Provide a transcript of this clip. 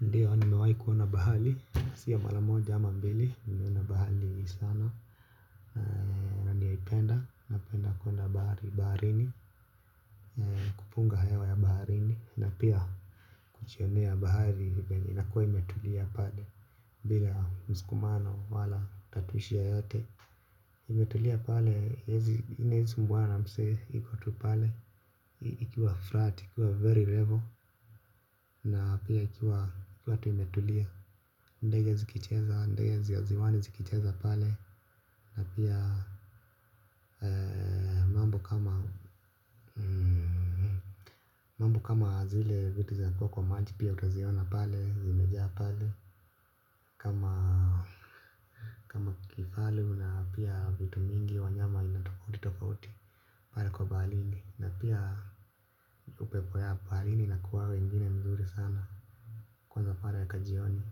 Ndiyo nimewahi kuona bahari, sio mara moja ama mbili, nimeona bahari sana. Na ninaipenda, napenda kuenda bahari, baharini, kupunga hewa ya baharini, na pia kujionea bahari, venye inakuwa imetulia pale. Bila mskumano wala tatuishi yote. Nimetulia pale, siezi sumbuana na msee, ikotu pale, ikiwa flat, ikiwa very level, na pia ikiwa, ikiwa tu imetulia. Ndege zikicheza, ndeje za ziwani zikicheza pale. Na pia mambo kama zile vitu za kuwa kwa maji pia utaziona pale, zimejaa pale. Kama kifaru na pia vitu mingi wanyama aina tofauti tofauti. Pale kwa baharini na pia upepo ya baharini inakuwaga ingine mzuri sana. Kwanza pale ka jioni.